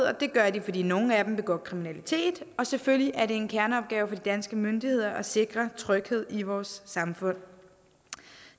og det gør de fordi nogle af dem begår kriminalitet og selvfølgelig er det en kerneopgave for de danske myndigheder at sikre tryghed i vores samfund